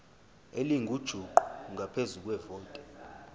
elingujuqu ngaphezu kwevoti